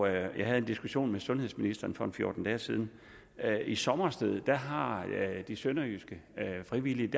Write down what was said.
jeg havde en diskussion med sundhedsministeren for en fjorten dage siden i sommersted har de sønderjyske frivillige